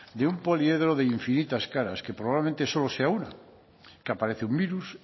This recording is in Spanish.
de un poliedro de infinitas caras que probablemente solo sea una que aparece un virus